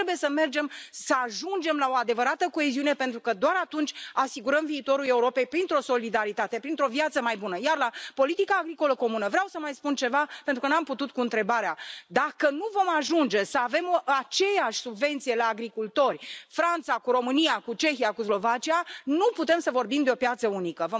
Noi trebuie să mergem să ajungem la o adevărată coeziune pentru că doar atunci asigurăm viitorul Europei printr o solidaritate, printr o viață mai bună, iar la politica agricolă comună vreau să mai spun ceva, pentru că nu am putut cu întrebarea dacă nu vom ajunge să avem aceeași subvenție la agricultori, Franța cu România cu Cehia cu Slovacia, nu putem să vorbim de o piață unică.